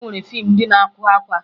E nwere fiimu ndị na-agụ akwa